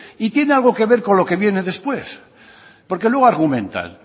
y tiene algo que ver con lo que viene después porque luego argumentan